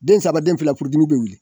Den saba den fila furudimi be wuli